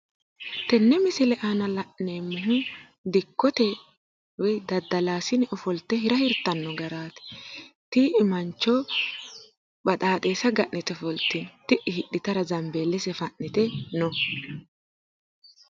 tenne misile aana la'neemmori dikkote woyi daddalaasine ofolte hira hirtanno garaati tii''i mancho baxaaxeessa ga'nite ofoltino, ti'i kayiinni hidhitara zambiillese fa'nite no.